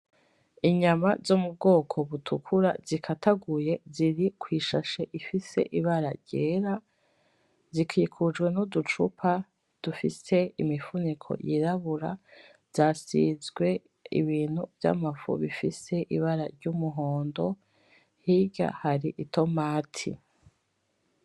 Inyama zo mu bwoko butukura zikataguye, ziri kwi shashe ifise ibara ryera, zikikujwe n'uducupa dufise imifuniko yirabura, zasizwe ibintu vyamafu bifise ibara ry'umuhondo, hirya hari itomati.